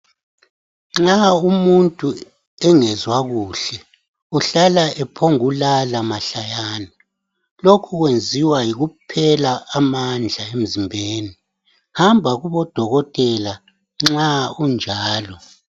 Nxa umuntu engezwa kuhle uhlala ephongulala mahlayana. Lokhu kwenziwa yikuphela amandla emzimbeni. Hamba kubodokotela nxa unjalo.